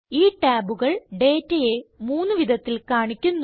ഈ ടാബുകൾ ഡേറ്റയെ മൂന്ന് വിധത്തിൽ കാണിക്കുന്നു